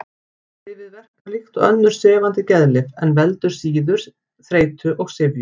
Lyfið verkar líkt og önnur sefandi geðlyf en veldur síður þreytu og syfju.